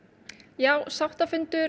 já sáttafundur